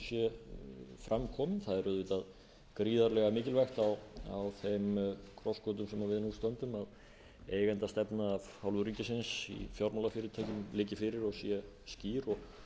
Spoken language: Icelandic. sé fram komin það er auðvitað gríðarlega mikilvægt á þeim krossgötum sem við nú stöndum að eigendastefna af hálfu ríkisins í fjármálafyrirtækjum liggi fyrir og sé skýr og